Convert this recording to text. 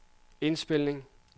indspilning